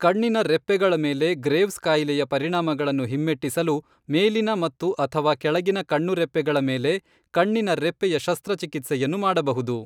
ಕಣ್ಣಿನ ರೆಪ್ಪೆಗಳ ಮೇಲೆ ಗ್ರೇವ್ಸ್ ಕಾಯಿಲೆಯ ಪರಿಣಾಮಗಳನ್ನು ಹಿಮ್ಮೆಟ್ಟಿಸಲು, ಮೇಲಿನ ಮತ್ತು, ಅಥವಾ ಕೆಳಗಿನ ಕಣ್ಣುರೆಪ್ಪೆಗಳ ಮೇಲೆ ಕಣ್ಣಿನ ರೆಪ್ಪೆಯ ಶಸ್ತ್ರಚಿಕಿತ್ಸೆಯನ್ನು ಮಾಡಬಹುದು.